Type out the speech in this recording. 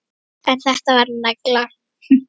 En þetta var negla.